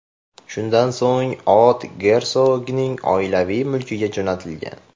Shundan so‘ng ot gersogning oilaviy mulkiga jo‘natilgan.